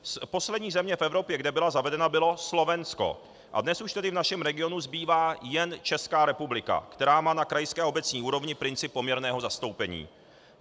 Poslední země v Evropě, kde byla zavedena, bylo Slovensko, a dnes už tedy v našem regionu zbývá jen Česká republika, která má na krajské a obecní úrovni princip poměrného zastoupení.